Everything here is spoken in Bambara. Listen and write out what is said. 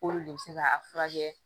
K'olu de bɛ se ka a furakɛ